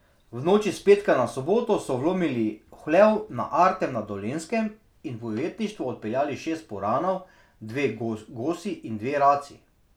V noči s petka na soboto so vlomili v hlev na Artem na Dolenjskem in v ujetništvo odpeljali šest puranov, dve gosi in dve raci.